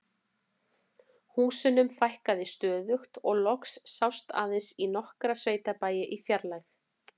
Húsunum fækkaði stöðugt og loks sást aðeins í nokkra sveitabæi í fjarlægð.